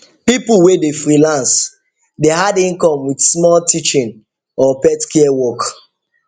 people wey dey freelance dey add income with small teaching or pet care work